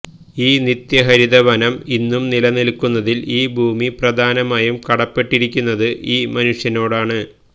ഈ നിത്യഹരിതവനം ഇന്നും നിലനിൽക്കുന്നതിൽ ഈ ഭൂമി പ്രധാനമായും കടപ്പെട്ടിരിക്കുന്നത് ഈ മനുഷ്യനോടാണ്